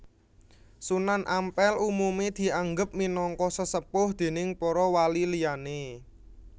Sunan Ampel umume dianggep minangka sesepuh déning para wali liyane